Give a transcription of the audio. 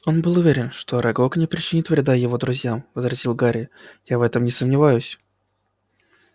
он был уверен что арагог не причинит вреда его друзьям возразил гарри я в этом не сомневаюсь